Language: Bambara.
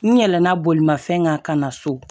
N yɛlɛnna bolimafɛn kan ka na so